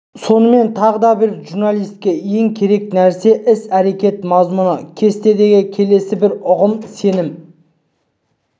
сонымен тағы да бір журналистке ең керек нәрсе іс-әрекет мазмұны кестесіндегі келесі бір ұғым сенім